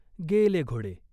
गेले घोड़े.